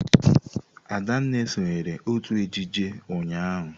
Adanma sonyeere otú ejije ụnyahụ.